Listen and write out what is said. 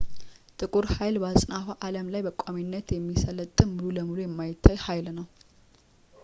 ጥቁር ሀይል በአጽናፈ አለም ላይ በቋሚነት የሚሰለጥን ሙሉ በሙሉ የማይታይ ኃይል ነው